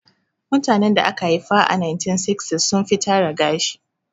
Mutanen da aka haifa a 1960s sun fi tara gashi